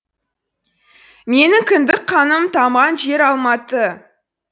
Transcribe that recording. менің кіндік қаным тамған жер алматы